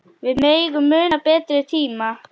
Við megum muna betri tíma.